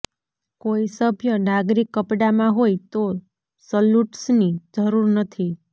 કોઈ સભ્ય નાગરિક કપડાંમાં હોય તો સલુટ્સની જરૂર નથી